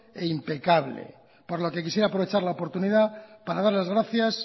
e impecable por lo que quisiera aprovechar la oportunidad par dar las gracias